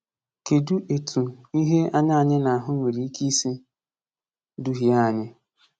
Kedụ etu ihe anya anyị na-ahụ nwere ike isi duhie anyị?